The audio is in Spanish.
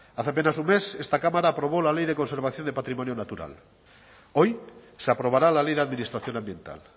hace apenas un mes esta cámara aprobó la ley de conservación del patrimonio natural hoy se aprobará la ley de administración ambiental